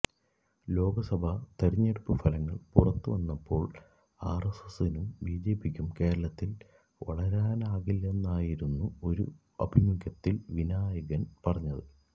ലോക്സഭാ തെരഞ്ഞെടുപ്പ് ഫലങ്ങള് പുറത്തു വന്നപ്പോള് ആര്എസ്എസിനും ബിജെപിക്കും കേരളത്തില് വളരാനാകില്ലെന്നായിരുന്നു ഒരു അഭിമുഖത്തില് വിനായകന് പറഞ്ഞത്